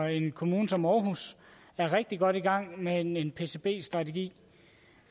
i en kommune som aarhus er rigtig godt i gang med en pcb strategi de